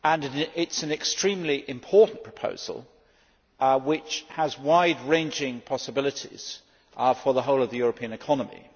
It is an extremely important proposal, which has wide ranging possibilities for the whole of the European economy.